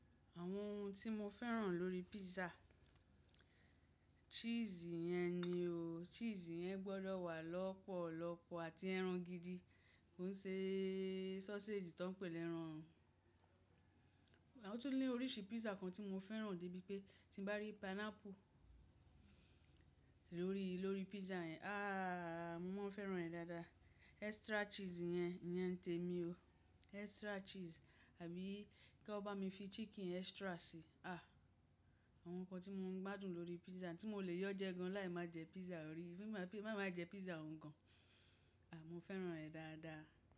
Àwọn ohun tí mo fẹ́ràn lórí pizza, cheese yẹn ni o. Cheese yẹn gbọ́dọ̀ wà lọ́pọ̀lọpọ̀ àti ẹran gidi. Kò ń ṣe sausage tó ń pè ní ẹran. O tún ní oríṣi pizza kan tí mo fẹ́ràn débi pé tín bá rí pineapple lórí, lórí pizza yẹn, ah mo máa fẹ́ràn rẹ̀ dáadáa. Extra cheese yẹn, iyẹn te mi o. Extra cheese àbí kí ọn bá mi fi chicken extra sí. Ah! Àwọn nǹkan tí mo ń gbádùn lórí pizza tí mo lè yọ jẹ gan láì máa jẹ pizza orí, máa máa jẹ pizza òun gan. À, mo fẹ́ràn rẹ̀ dáadáa.